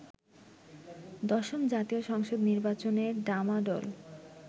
দশম জাতীয় সংসদ নির্বাচনের ডামাডোল